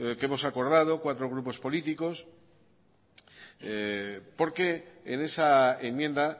que hemos acordado cuatro grupos políticos porque en esa enmienda